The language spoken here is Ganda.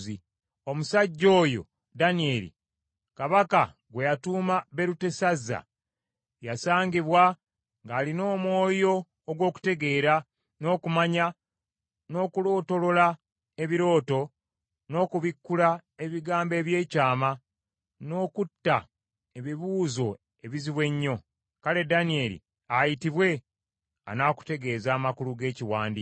Omusajja oyo Danyeri, kabaka gwe yatuuma Berutesazza, yasangibwa ng’alina omwoyo ogw’okutegeera, n’okumanya, n’okulootolola ebirooto, n’okubikkula ebigambo eby’ekyama, n’okutta ebibuuzo ebizibu ennyo. Kale Danyeri ayitibwe, anaakutegeeza amakulu g’ekiwandiiko.”